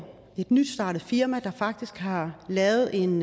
et nystartet firma der faktisk har lavet en